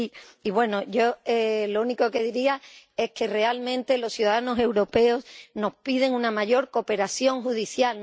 Y, bueno, yo lo único que diría es que realmente los ciudadanos europeos nos piden una mayor cooperación judicial.